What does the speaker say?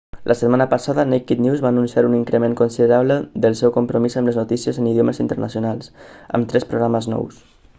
la setmana passada naked news va anunciar un increment considerable del seu compromís amb les notícies en idiomes internacionals amb tres programes nous